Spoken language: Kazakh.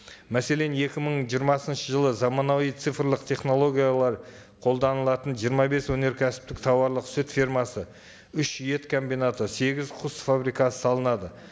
мәселен екі мың жиырмасыншы жылы заманауи цифрлық технологиялар қолданылатын жиырма бес өнеркәсіптік тауарлық сүт фермасы үш ет комбинаты сегіз құс фабрикасы салынады